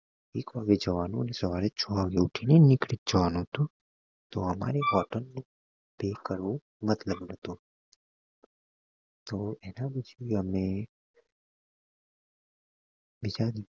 એક વાગે જવા નું અને સવારે છ વાગે ઉઠી ને નીકળી જ જવા નું હતું તો અમારે hotel નું pay કરવું મતલબ નથી તો એના પછી અમે બીજા દિવસે